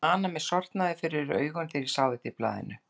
Ég man að mér sortnaði fyrir augum þegar ég sá þetta í blaðinu.